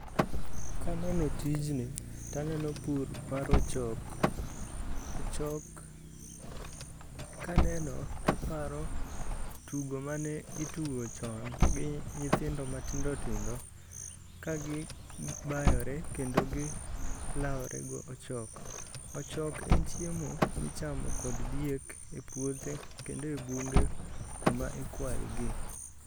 Kaneno tijni taneno pur mar ochok. Ochok kaneno taparo tugo mane itugo chon gi nyithindo matindo tindo kagibayore kendo gilawore gi ochok. Ochok en chiemo michamo kod diek epuothe kendo ebunge kuma ikwayogie.